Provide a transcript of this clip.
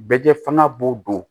Bɛjɛ fanga b'o don